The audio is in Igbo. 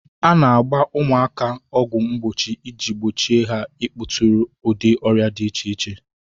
A na-agba ụmụaka ọgwụ mgbochie iji gbochie ha ịkpọtụrụ ụdị ọrịa di iche iche.